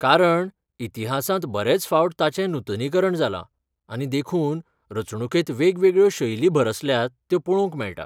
कारण इतिहासांत बरेच फावट ताचें नूतनीकरण जालां, आनी देखून, रचणुकेंत वेगवेगळ्यो शैली भरसल्यात त्यो पळोवंक मेळटा.